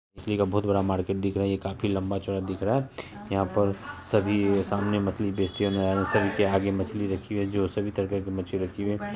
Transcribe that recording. मछली का बहुत-बड़ा मार्केट दिख रहा है ये लम्बा चोरा दिख रहा है यहां पर सभी सामने मछली बेचते मछली रखी है जो सभी तरह की मछली रखी है----